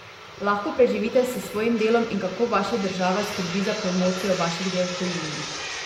Lahko preživite s svojim delom in kako vaša država skrbi za promocijo vaših del v tujini?